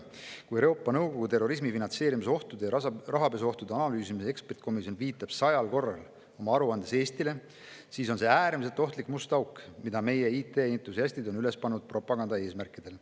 Kui Euroopa Nõukogu terrorismi finantseerimise ohtude ja rahapesuohtude analüüsimise ekspertkomisjon viitab oma aruandes sajal korral Eestile, siis on see äärmiselt ohtlik must auk, mille meie IT‑entusiastid on üles pannud propaganda eesmärkidel.